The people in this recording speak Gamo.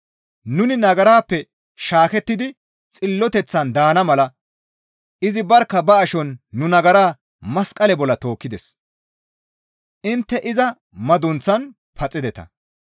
Nuni nagarappe shaakettidi xilloteththan daana mala izi barkka ba ashon nu nagaraa masqale bolla tookkides; intte iza madunththaan paxideta.